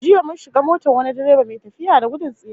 Jiya mun shiga motar wani direba mai tafiya da gudun tsiya